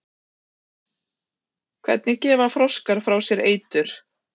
Hvernig gefa froskar frá sér eitur?